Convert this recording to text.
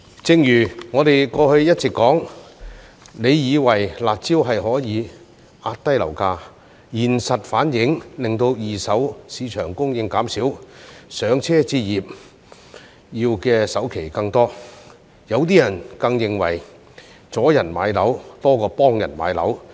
正如我們過去一直提到，政府以為出"辣招"可以壓低樓價，現實反而令到二手市場供應減少，"上車"置業要的首期更多，有些人更認為阻人買樓多過幫人買樓。